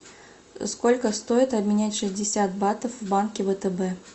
сколько стоит обменять шестьдесят батов в банке втб